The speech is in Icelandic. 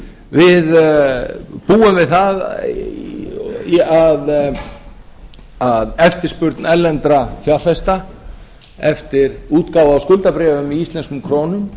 við búum við það að eftirspurn erlendra fjárfesta eftir útgáfu á skuldabréfum í íslenskum krónum